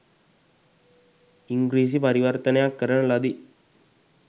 ඉංගී්‍රසි පරිවර්තනයක් කරන ලදී.